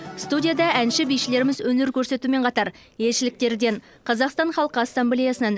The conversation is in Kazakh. студияда әнші бишілеріміз өнер көрсетумен қатар елшіліктерден қазақстан халқы ассамблеясынан